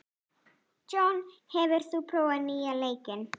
John, hefur þú prófað nýja leikinn?